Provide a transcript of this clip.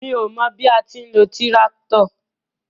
Mi ó mọ bí a ti ń lo tíráktọ̀.